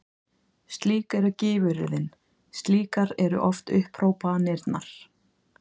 Slík eru gífuryrðin, slíkar eru oft upphrópanirnar.